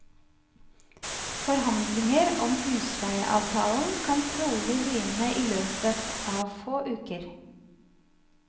Forhandlinger om husleieavtalen kan trolig begynne i løpet av få uker.